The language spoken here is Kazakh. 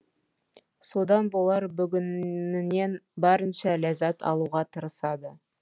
содан болар бүгінінен барынша ләззат алуға тырысады